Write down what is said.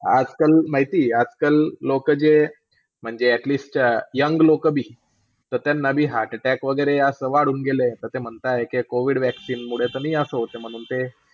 आजकाल माहितीये, आजकल लोकं जे म्हणजे atelast young लोकं बी, ता त्यांना असं heart-attack वगैरे असा वाढून गेलं असं म्हणताय की COVID vaccine मुळे ता असं नाही होतंय म्हणून ते.